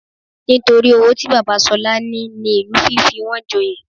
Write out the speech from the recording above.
Nítorí owó tí bàbá Ṣọlá ní ní ìlú fi fi wọn joyè